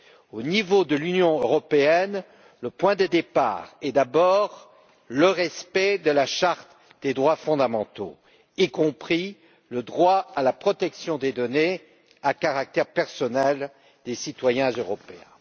Au niveau de l'Union européenne, le point de départ est d'abord le respect de la charte des droits fondamentaux, y compris le droit à la protection des données à caractère personnel des citoyens européens.